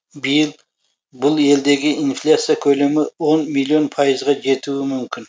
биыл бұл елдегі инфляция көлемі он миллион пайызға жетуі мүмкін